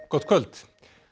gott kvöld